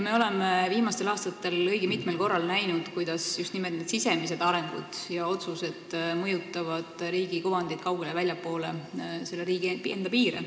Me oleme viimastel aastatel õige mitmel korral näinud, kuidas just nimelt sisemised arengud ja otsused mõjutavad riigi kuvandit kaugele väljapoole riigi piire.